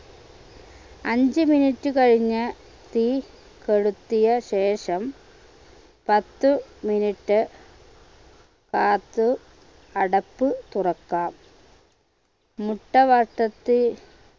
അഞ്ച് minute കഴിഞ്ഞ് തീ കെടുത്തിയ ശേഷം പത്ത് minute കാത്ത് അടപ്പ് തുറക്കാം മുട്ട വട്ടത്തിൽ